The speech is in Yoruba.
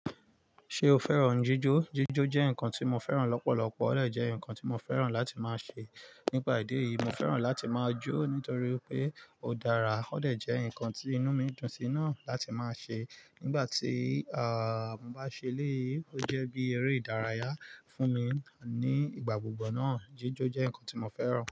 Ṣe o fẹ́ràn jíjó? Jíjó jẹ́ nǹkan tí mo fẹ́ràn lọ́pọ̀lọpọ̀, ó de jẹ́ nǹkan tí mo fẹ́ràn láti máa ṣe. Nípa ìdí èyí, mo fẹ́ràn láti máa jó nítorí pé ó dára, ó de jẹ́ nǹkan tí inú mi dùn sí náà láti máa ṣe. Nígbà tí, ààh, mo bá ṣe eléyi, ó jẹ́ bí eré ìdárayá fún mi ní ìgbà gbogbo náà. Jíjó jẹ́ nǹkan tí mo fẹ́ràn.